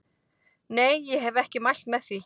Nei ég hef ekki mælt með því.